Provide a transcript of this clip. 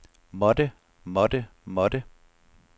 måtte måtte måtte